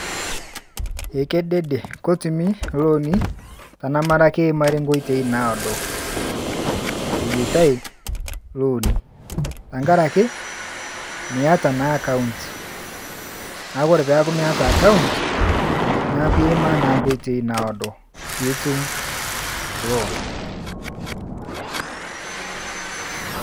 Ekedede ketumi ilooni kake eimari nkoitoi naado eyaita ilooni tenkaraki miata naa account kake ore peeku meeta account neeku iimaa naa nkoitoi naado pee itum loan .